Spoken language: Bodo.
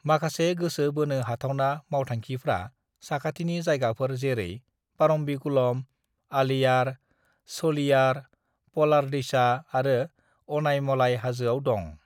"माखासे गोसो बोनो हाथावना मावथांखिफ्रा साखाथिनि जायगाफोर जेरै परम्बिकुलम, अलियार, शोलियर, पलार दैसा आरो अनायमलाई हाजोआव दं।"